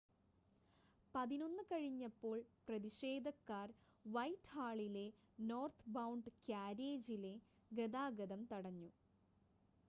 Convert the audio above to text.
11:00 കഴിഞ്ഞപ്പോൾ പ്രതിഷേധക്കാർ വൈറ്റ്ഹാളിലെ നോർത്ത്ബൗണ്ട് കാര്യേജിലെ ഗതാഗതം തടഞ്ഞു